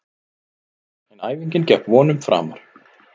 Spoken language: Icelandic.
En æfingin gekk vonum framar.